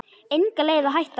Engin leið að hætta.